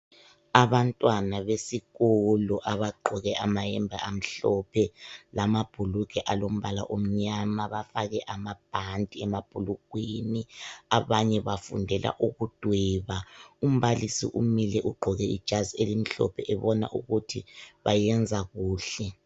Abantwana besikolo abagqoke amayembe amhlophe lamabhulugwe alombala omnyama bafake amabhanti emabhlulugweni abanye bafundela ukudweba. Umbalisi umile ugqoke ijazi elimhlophe ubona ukuthi bayenza kuhle.